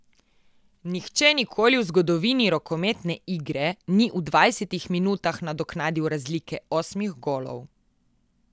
Nihče nikoli v zgodovini rokometne igre ni v dvajsetih minutah nadoknadil razlike osmih golov.